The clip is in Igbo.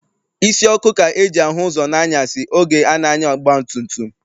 Isi ọkụ ka e ji ahụ ụzọ n'anyasị oge a na-anya ọgbatumtum.